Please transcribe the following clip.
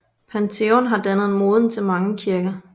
Pantheon har dannet moden til mange kirker